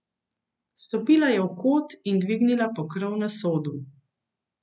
Stopila je v kot in dvignila pokrov na sodu.